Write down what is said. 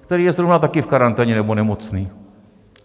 který je zrovna taky v karanténě nebo nemocný.